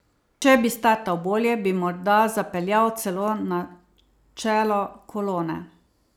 Če bi startal bolje, bi morda zapeljal celo na čelo kolone.